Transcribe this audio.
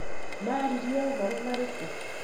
maririe ũhoro marĩkũ?